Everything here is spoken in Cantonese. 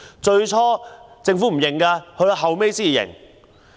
最初政府不承認，後來才承認。